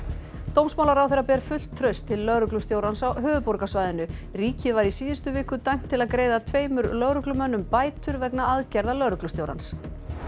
dómsmálaráðherra ber fullt traust til lögreglustjórans á höfuðborgarsvæðinu ríkið var í síðustu viku dæmt til að greiða tveimur lögreglumönnum bætur vegna aðgerða lögreglustjórans